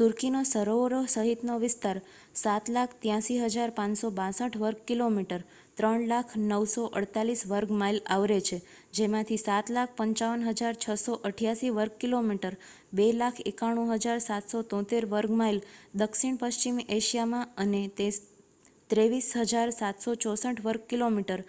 તુર્કીનો સરોવરો સહિતનો વિસ્તાર 7,83,562 વર્ગ કિલોમીટર 300,948 વર્ગ માઇલ આવરે છે જેમાંથી 7,55,688 વર્ગ કિલોમીટર 2,91,773 વર્ગ માઇલ દક્ષિણ પશ્ચિમી એશિયામાં અને 23,764 વર્ગ કિલોમીટર